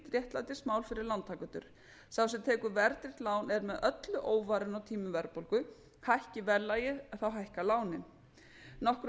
réttlætismál fyrir lántakendur sá sem tekur verðtryggt lán er með öllu óvarinn á tímum verðbólgu hækki verðlagið hækka lánin nokkru